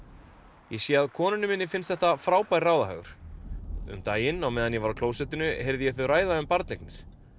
ég sé að konunni minni finnst þetta frábær ráðahagur um daginn á meðan ég var á klósettinu heyrði ég þau ræða um barneignir